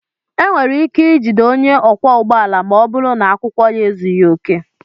E nwere ike ijide onye ọkwọ ụgbọala ma ọ bụrụ na akwụkwọ ya ezughị oke.